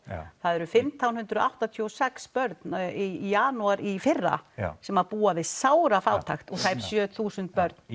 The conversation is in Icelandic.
það eru fimmtán hundruð áttatíu og sex börn í janúar í fyrra sem búa við sárafátækt og tæp sjö þúsund börn